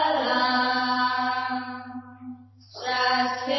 Vande Mataram